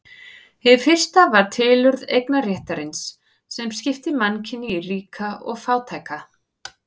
Hið fyrsta var tilurð eignarréttarins sem skipti mannkyni í ríka og fátæka.